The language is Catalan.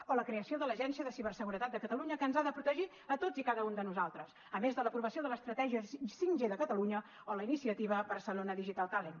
o la creació de l’agència de ciberseguretat de catalunya que ens ha de protegir a tots i cada un de nosaltres a més de l’aprovació de l’estratègia 5g de catalunya o la iniciativa barcelona digital talent